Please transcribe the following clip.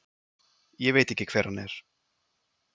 Ég veit ekki hver hann er.